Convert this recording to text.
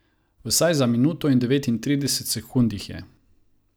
Vsaj za minuto in devetintrideset sekund jih je.